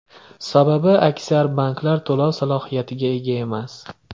Sababi, aksar banklar to‘lov salohiyatiga ega emas.